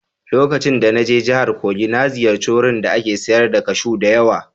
Lokacin da na je jihar Kogi na ziyarci wurin da ake sayar da kashu da yawa